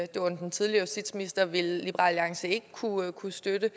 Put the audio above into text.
det var under den tidligere justitsminister ville liberal alliance ikke kunne kunne støtte det